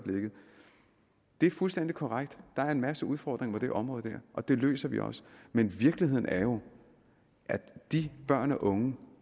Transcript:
det er fuldstændig korrekt at der er en masse udfordringer på det område og dem løser vi også men virkeligheden er jo at de børn og unge